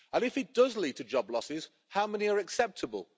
And, if it does lead to job losses, how many are acceptable?